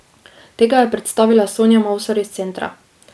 Tega je predstavila Sonja Mavsar iz centra.